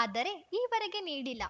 ಆದರೆ ಈ ವರೆಗೆ ನೀಡಿಲ್ಲ